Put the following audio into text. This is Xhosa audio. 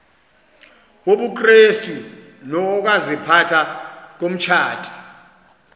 wobukrestu nokaziphatha komtshati